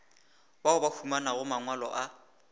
bao ba humanago mangwalo a